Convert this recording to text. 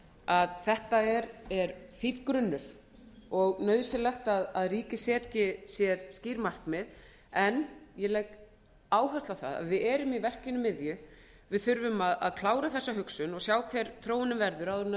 að þetta er fínn grunnur og nauðsynlegt að ríkið setji sér skýr markmið en ég legg áherslu á það að við erum í verkinu miðju við þurfum að klára þessa hugsun og sjá hver þróunin verður áður en